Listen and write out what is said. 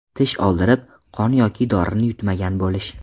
Tish oldirib, qon yoki dorini yutmagan bo‘lish.